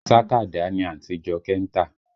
Sàkádà ni àǹtí Jọkẹ́ ń tà